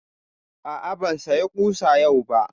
A'a, ban saya ƙusa yau ba